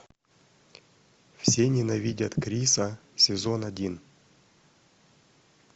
все ненавидят криса сезон один